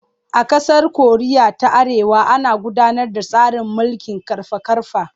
A ƙasar Koriya ta Arewa ana gudanar da tsarin mulkin ƙarfa-ƙarfa.